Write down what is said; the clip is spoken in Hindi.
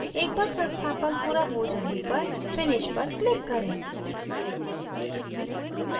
एक बार संस्थापन पूरा हो जाने पर finish पर click करें